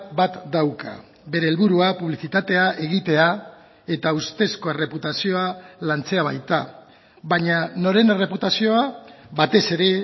bat dauka bere helburua publizitatea egitea eta ustezko erreputazioa lantzea baita baina noren erreputazioa batez ere